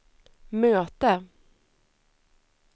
möte